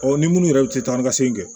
ni minnu yɛrɛ tɛ taa ni ka segin kɛ